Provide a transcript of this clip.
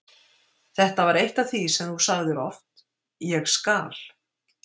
Þetta var eitt af því sem þú sagðir oft: Ég skal.